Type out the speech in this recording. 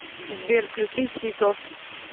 сбер включи тито